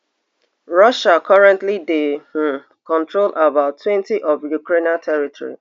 russia currently dey um control about twenty of ukrainian territory